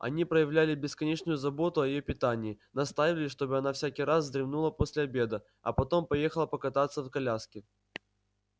они проявляли бесконечную заботу о её питании настаивали чтобы она всякий раз вздремнула после обеда а потом поехала покататься в коляске